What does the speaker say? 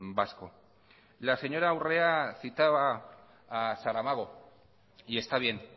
vasco la señora urrea citaba a saramago y está bien